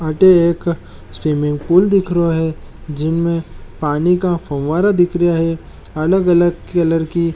अटे एक स्विमिंगपूल दिख रहो है जिनमे एक पानी का फवारा दिख रहा है अलग-अलग कलर की --